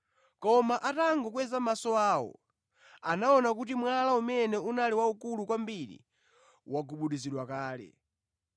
Koma atakweza maso awo, anaona kuti mwala umene unali waukulu kwambiri wagubuduzidwa kale.